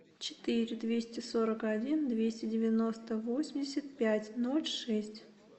четыре двести сорок один двести девяносто восемьдесят пять ноль шесть